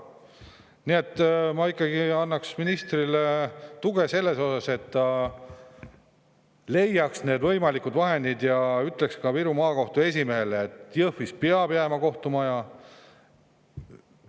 Nii et ma ikkagi annaks ministrile tuge selles osas, et ta leiaks need võimalikud vahendid ja ütleks Viru Maakohtu esimehele, et Jõhvis peab kohtumaja alles jääma.